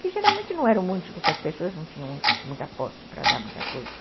Que geralmente não eram muitos porque as pessoas não tinham muita posse para dar muita coisa.